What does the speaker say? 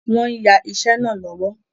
Wọ́n ń yà iṣẹ́ náà lọ́wọ́